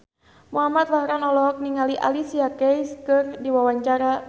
Muhamad Farhan olohok ningali Alicia Keys keur diwawancara